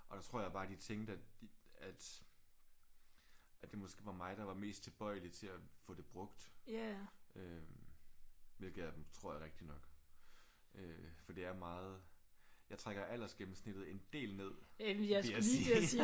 Og der tror jeg bare de tænkte at at at det måske var mig der var mest tilbøjelig til at få det brugt øh hvilket jeg tror er rigtigt nok. Øh for det er meget jeg trækker aldersgennemsnittet en del ned vil jeg sige